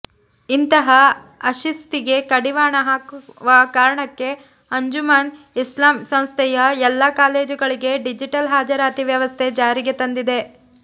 ಇಂತಹ ಅಶಿಸ್ತಿಗೆ ಕಡಿವಾಣ ಹಾಕುವಕಾರಣಕ್ಕೆ ಅಂಜುಮನ್ ಇಸ್ಲಾಂ ಸಂಸ್ಥೆಯ ಎಲ್ಲಾ ಕಾಲೇಜುಗಳಿಗೆ ಡಿಜಿಟಲ್ ಹಾಜರಾತಿ ವ್ಯವಸ್ಥೆ ಜಾರಿಗೆ ತಂದಿದೆ